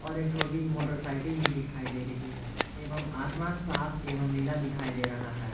और एक छोटी मोटरसाइकल भी दिखाई दे रही है एवं आसमान साफ एवं नीला दिखाई दे रहा है।